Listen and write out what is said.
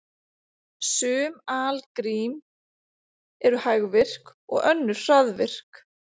Sum algrím eru hægvirk og önnur hraðvirk.